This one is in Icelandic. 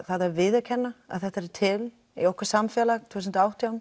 að viðurkenna að þetta er til í okkar samfélagi tvö þúsund og átján